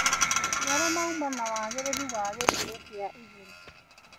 Maciaro mauma na wagĩrĩru wa gĩkĩro kia igũrũ.